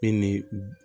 E ni